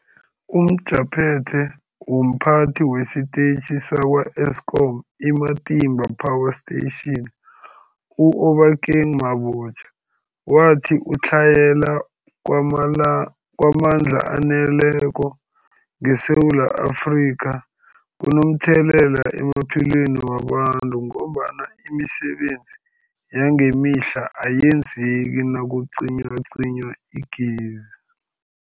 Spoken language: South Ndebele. UmJaphethe womPhathi wesiTetjhi sakwa-Eskom i-Matimba Power Station u-Obakeng Mabotja wathi ukutlhayela kwamandla kwamandla aneleko ngeSewula Afrika kunomthelela emaphilweni wabantu ngombana imisebenzi yangemihla ayenzeki nakucinywacinywa igezi.